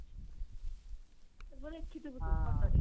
ତାକୁ ତ ଦେଖିଥିବୁ ତୁ photo ରେ